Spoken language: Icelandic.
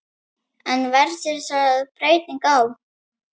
En verður þar breyting á?